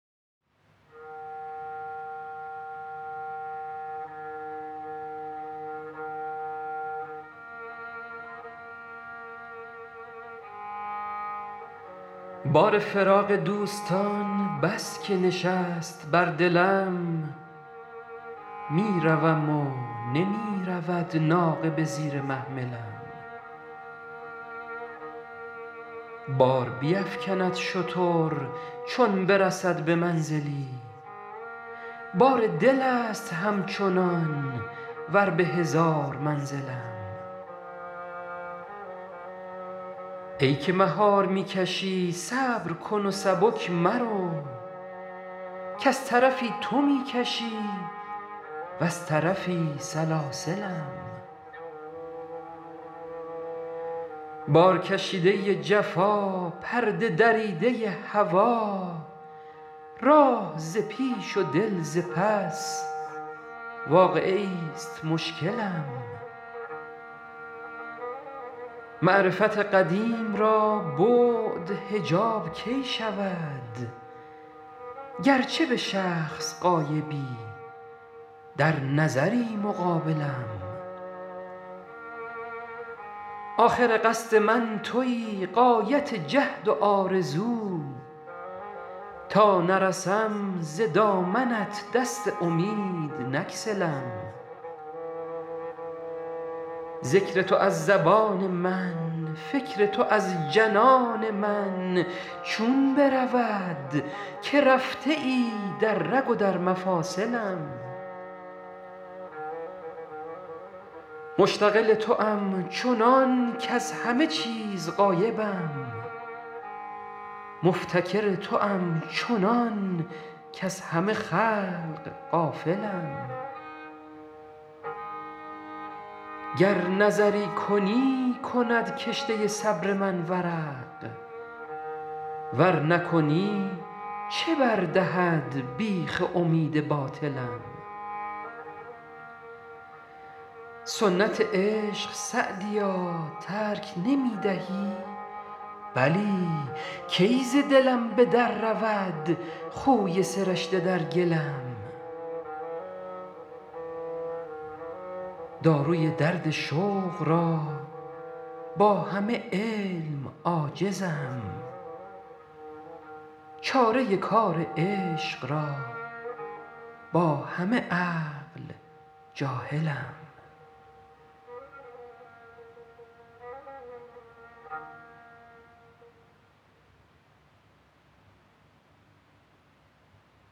بار فراق دوستان بس که نشست بر دلم می روم و نمی رود ناقه به زیر محملم بار بیفکند شتر چون برسد به منزلی بار دل است همچنان ور به هزار منزلم ای که مهار می کشی صبر کن و سبک مرو کز طرفی تو می کشی وز طرفی سلاسلم بارکشیده ی جفا پرده دریده ی هوا راه ز پیش و دل ز پس واقعه ایست مشکلم معرفت قدیم را بعد حجاب کی شود گرچه به شخص غایبی در نظری مقابلم آخر قصد من تویی غایت جهد و آرزو تا نرسم ز دامنت دست امید نگسلم ذکر تو از زبان من فکر تو از جنان من چون برود که رفته ای در رگ و در مفاصلم مشتغل توام چنان کز همه چیز غایبم مفتکر توام چنان کز همه خلق غافلم گر نظری کنی کند کشته صبر من ورق ور نکنی چه بر دهد بیخ امید باطلم سنت عشق سعدیا ترک نمی دهی بلی کی ز دلم به در رود خوی سرشته در گلم داروی درد شوق را با همه علم عاجزم چاره کار عشق را با همه عقل جاهلم